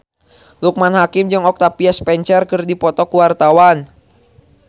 Loekman Hakim jeung Octavia Spencer keur dipoto ku wartawan